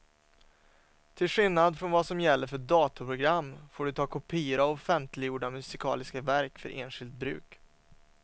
Till skillnad från vad som gäller för datorprogram får du ta kopior av offentliggjorda musikaliska verk för enskilt bruk.